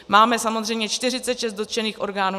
Máme samozřejmě 46 dotčených orgánů.